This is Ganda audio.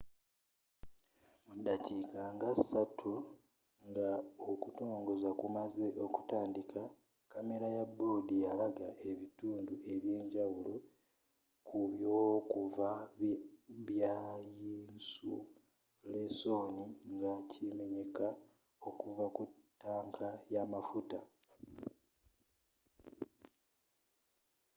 mudaakika nga 3 nga okutongoza kumaze okutandika kamera ya board yalaga ebitundu eby'enjawulo ku byovu bya yinsulesoni nga kimenyeka okuva ku tanka y'amafuta